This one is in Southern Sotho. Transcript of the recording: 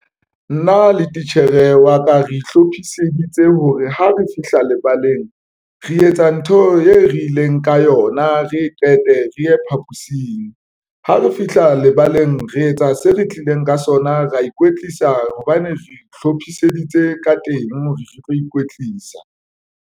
Nna le titjhere wa ka re hlophiseditse hore ha re fihla lebaleng, re etsa ntho e re ileng ka yona, re e qete re ye phaposing ha re fihla lebaleng, re etsa se re tlileng ka sona, ra ikwetlisa hobane re ihlophiseditse ka teng, re tlo ikwetlisa.